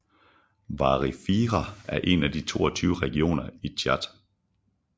Wadi Fira er en af de 22 regioner i Tchad